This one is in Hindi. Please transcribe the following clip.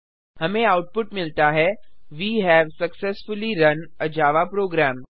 हमें आउटपुट मिलता है we have successfully run a Java programme